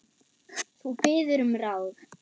Þú biður um ráð.